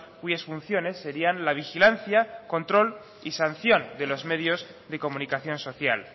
cuyas funciones serian la vigilancia control y sanción de los medios de comunicación social